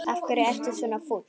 Af hverju ertu svona fúll?